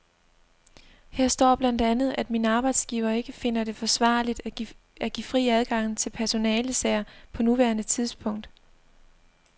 Her står blandt andet, at min arbejdsgiver ikke finder det forsvarligt at give fri adgang til personalesager på nuværende tidspunkt.